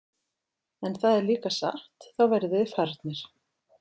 En það er líka satt, þá verðið þið farnir.